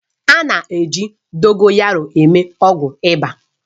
A na-eji Dogoyaroo eme ọgwụ ịba